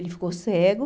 Ele ficou cego.